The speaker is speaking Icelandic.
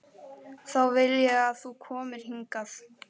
Þá vil ég að þú komir hingað!